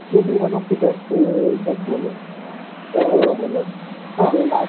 ସେ ବି one of the best death bowler